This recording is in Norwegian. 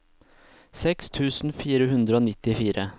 seks tusen fire hundre og nittifire